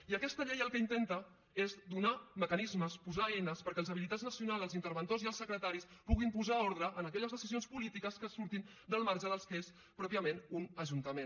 i aquesta llei el que intenta és donar mecanismes posar eines perquè els habilitats nacionals els interventors i els secretaris puguin posar ordre en aquelles decisions polítiques que surtin del marge del que és pròpiament un ajuntament